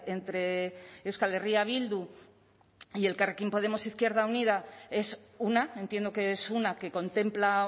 entre euskal herria bildu y el elkarrekin podemos izquierda unida es una entiendo que es una que contempla